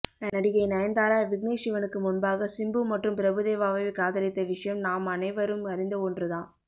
நடிகை நயன்தாரா விக்னேஷ் சிவனுக்கு முன்பாக சிம்பு மற்றும் பிரபுதேவாவை காதலித்த விஷயம் நாம் அனைவரும் அறிந்த ஒன்று தான்